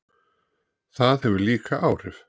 Það hefur líka áhrif.